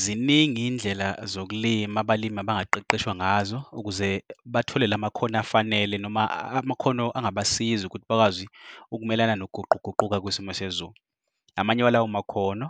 Ziningi iy'ndlela zokulima abalimi abangaqeqeshwa ngazo, ukuze bathole lamakhono afanele noma amakhono angabasiza ukuthi bamelane nokuguquguquka kwesimo sezulu. Amanye walawomakhono